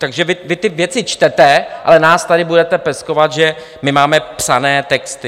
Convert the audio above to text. Takže vy ty věci čtete, ale nás tady budete peskovat, že my máme psané texty.